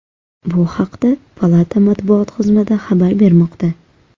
Bu haqda palata matbuot xizmati xabar bermoqda .